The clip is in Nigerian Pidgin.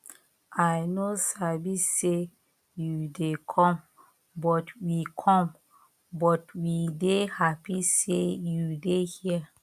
i no sabi say you dey come but we come but we dey happy say you dey here